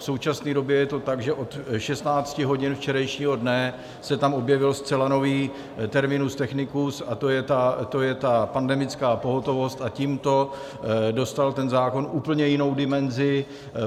V současné době je to tak, že od 16 hodin včerejšího dne se tam objevil zcela nový terminus technicus, a to je ta pandemická pohotovost, a tímto dostal ten zákon úplně jinou dimenzi.